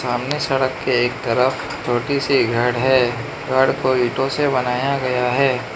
सामने सड़क के एक तरफ छोटी सी घड़ है घड़ को ईंटों से बनाया गया है।